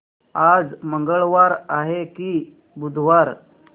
आज मंगळवार आहे की बुधवार